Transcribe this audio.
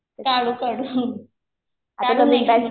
काढू काढू. काढू नेक्स्ट मन्थ मध्ये.